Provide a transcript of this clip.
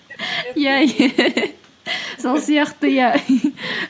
иә сол сияқты иә